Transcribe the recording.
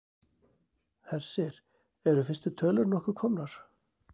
Hersir, eru fyrstu tölur nokkuð komnar?